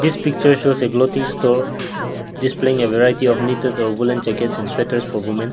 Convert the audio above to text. this picture shows a clothing store displaying a variety of knitted or woolen jackets and sweaters for women.